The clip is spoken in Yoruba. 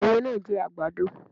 Ẹiyẹ náà jẹ àgbàdo.